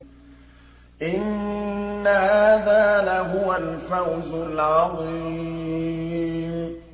إِنَّ هَٰذَا لَهُوَ الْفَوْزُ الْعَظِيمُ